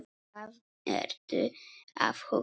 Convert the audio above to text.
Hvað ertu að hugsa?